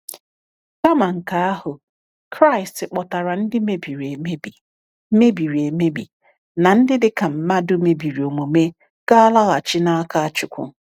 Kama nke ahụ, Kraịst kpọtara ndị mebiri emebi mebiri emebi na ndị dị ka mmadụ mebiri omume ga-alaghachi n’aka Chúkwú.